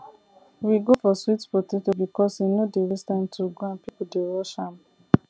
we go for sweet potato because e no dey waste time to grow and people dey rush am